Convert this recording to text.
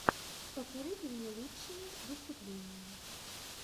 посоветуй мне лучшие выступления